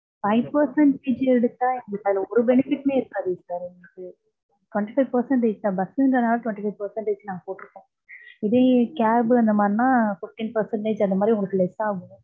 five percentage எடுத்தா எங்களுக்கு அதுல ஒரு benefit டுமே இருக்காதே sir. twenty five percentage தான். bus ங்கறது நாள twenty five percentage நாங்க போட்டிருக்கோம். இதே cab அந்த மாதிரி நான் fifteen percentage அந்த மாதிரி உங்களுக்கு less ஆகும்